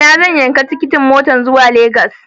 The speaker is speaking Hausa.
A ina zan yanki tikitin motar zuwa Lagos?